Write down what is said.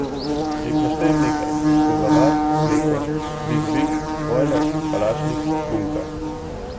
Če jih naštejem nekaj, Poglavar, Mleko, Vig Vig, Bojler, Kalašnik, Bunka ...